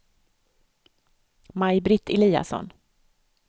Maj-Britt Eliasson